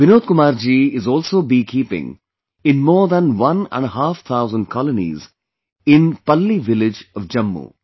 Vinod Kumar ji is also beekeeping in more than one and a half thousand colonies in Palli village of Jammu